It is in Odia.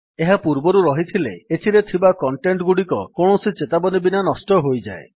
ଏହା ପୂର୍ବରୁ ରହିଥିଲେ ଏଥିରେ ଥିବା କଣ୍ଟେଟ୍ ଗୁଡିକ କୌଣସି ଚେତାବନୀ ବିନା ନଷ୍ଟ ହୋଇଯାଏ